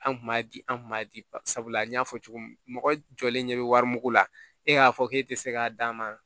An kun b'a di an kun b'a di sabula an y'a fɔ cogo min mɔgɔ jɔlen ɲɛ bɛ wari mugu la e y'a fɔ k'e te se k'a d'a ma